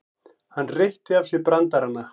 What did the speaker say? Hann reytti af sér brandarana.